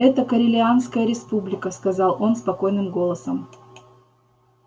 это корелианская республика сказал он спокойным голосом